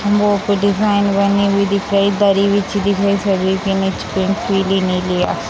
दिख रहा है दरी बिछी दिख रही है पिली-नीली --